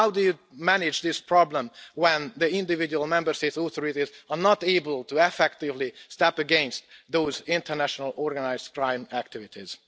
How do you manage this problem when the individual Member States' authorities are not able to effectively step against those international organised crime activities?